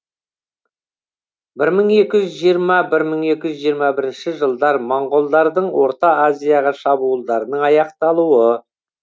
бір мың екі жүз жиырма бір мың екі жүз жиырма бірінші жылдар моңғолдардың орта азияға шабуылдарының аяқталуы